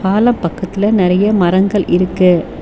மல பக்கத்துல நெறைய மரங்கள் இருக்கு.